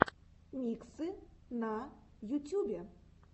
миксы на ютюбе